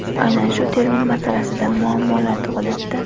Aynan shu termin masalasida [muammolar] tug‘ilyapti.